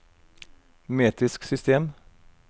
metrisk system